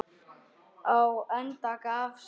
Á endanum gafst